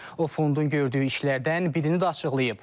O fondun gördüyü işlərdən birini də açıqlayıb.